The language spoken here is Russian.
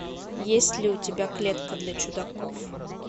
есть ли у тебя клетка для чудаков